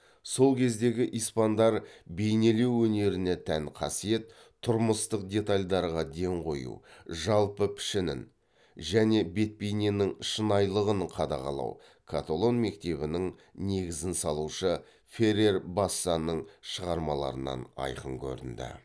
сол кездегі испандар бейнелеу өнеріне тән қасиет тұрмыстық детальдарға ден қою жалпы пішінің мен бет бейненің шынайылығын қадағалау каталон мектебінің негізін салушы феррер бассаның шығармаларынан айқын көрінді